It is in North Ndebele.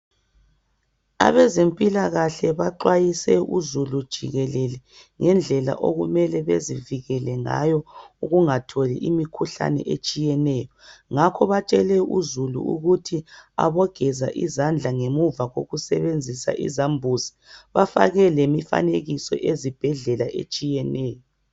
Abezempilakahle baxwayise uzulu wonke jikelele ngendlela okufuze baziphathe ngayo ukuze bengatholi umkhuhlane ngakho baxwayise uzulu ukuthi abogeza izandla ngemnva kokusebenzisa isambuzi bafake lomfanekiso esibhedlela etshiyeneyo.